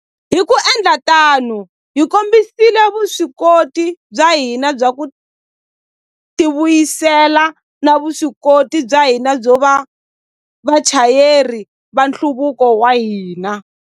Hi ku endla tano, hi kombisile vuswikoti bya hina bya ku tivuyisela na vuswikoti bya hina byo va vachayeri va nhluvuko wa hina.